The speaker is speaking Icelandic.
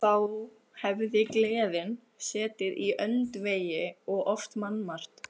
Þá hafði gleðin setið í öndvegi og oft mannmargt.